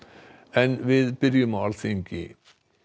en við byrjum á Alþingi